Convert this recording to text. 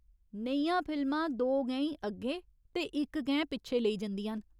नेहियां फिल्मां दो गैईं अग्गें ते इक गैं पिच्छें लेई जंदियां न।